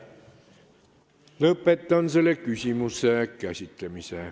Lõpetan selle küsimuse käsitlemise.